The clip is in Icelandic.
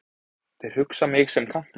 Þeir hugsa mig sem kantmann.